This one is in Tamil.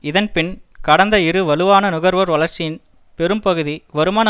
இதன் பின் கடந்த இரு வலுவான நுகர்வோர் வளர்ச்சியின் பெரும் பகுதி வருமான